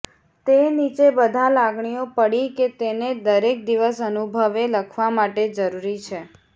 તે નીચે બધા લાગણીઓ પડી કે તેને દરેક દિવસ અનુભવે લખવા માટે જરૂરી છે